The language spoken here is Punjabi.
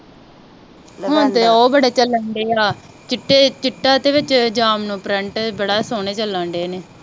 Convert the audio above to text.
ਹੁਣ ਤੇ ਉਹ ਬੜੇ ਚੱਲਣ ਡਏ ਆ ਚਿੱਟੇ ਦੇ ਵਿੱਚ ਜਾਮਨੂੰ ਪ੍ਰਿੰਟ ਬੜਾ ਸੋਹਣਾ ਬੜਾ ਸੋਹਣੇ ਚੱਲਣ ਡਏ ਨੇ